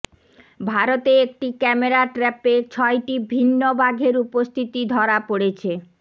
ভারতে একটি ক্যামেরা ট্র্যাপে ছয়টি ভিন্ন বাঘের উপস্থিতি ধরা পড়েছে